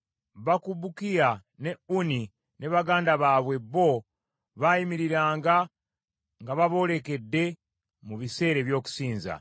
Bakubukiya ne Unni ne baganda baabwe bo, baayimiriranga nga baboolekedde mu biseera eby’okusinza.